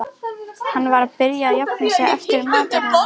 Hann var að byrja að jafna sig eftir martröðina.